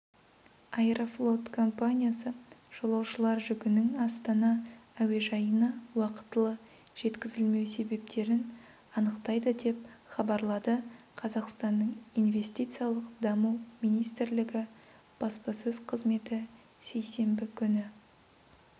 аэрофлот компаниясы жолаушылар жүгінің астана әуежайына уақытылы жеткізілмеу себептерін анықтайды деп хабарлады қазақстанның инвестициялық даму министрлігі баспасөз қызметі сейсенбі күні